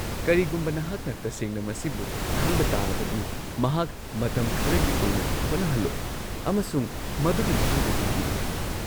ꯀꯔꯤꯒꯨꯝꯕ ꯅꯍꯥꯛꯅ ꯇꯁꯦꯡꯅ ꯃꯁꯤꯕꯨ ꯈꯟꯕ ꯇꯥꯔꯕꯗꯤ ꯃꯍꯥꯛ ꯃꯇꯝ ꯈꯔꯒꯤ ꯑꯣꯏꯅ ꯍꯣꯠꯅꯍꯜꯂꯣ ꯑꯃꯁꯨꯡ ꯃꯗꯨꯒꯤ ꯃꯇꯨꯡꯗ ꯌꯦꯡꯕꯤꯔꯣ꯫